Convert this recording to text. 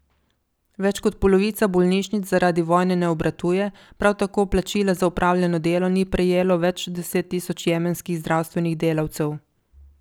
Več kot polovica bolnišnic zaradi vojne ne obratuje, prav tako plačila za opravljeno delo ni prejelo več deset tisoč jemenskih zdravstvenih delavcev.